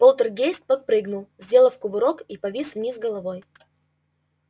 полтергейст подпрыгнул сделал кувырок и повис вниз головой